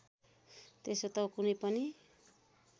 त्यसो त कुनै पनि